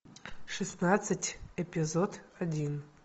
шестнадцать эпизод один